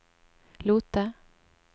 Lote